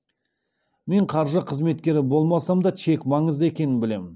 мен қаржы қызметкері болмасам да чек маңызды екенін білемін